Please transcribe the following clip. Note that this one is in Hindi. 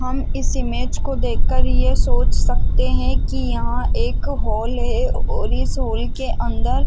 हम इस इमेज को देखकर ये सोच सकते है की यहाँ एक हॉल है और इस हॉल के अंदर--